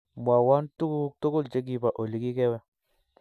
Mwowon tuguk tugul chegibo oligigewe